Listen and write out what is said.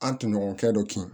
An tunɲɔgɔnkɛ dɔ kin